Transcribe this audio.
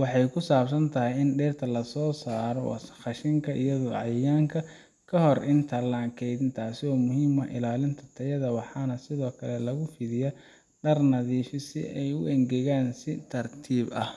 waxay ku saabsan tahay in dhirta laga saaro wasakhda, qashinka, iyo cayayaanka ka hor inta aan la kaydin taasoo muhiim u ah ilaalinta tayada waxaana sidoo kale lagu fidiyaa dhar nadiif ah si ay u engegaan si tartiib ah